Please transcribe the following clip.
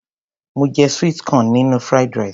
Mo je sweet corn nínú Fried rice.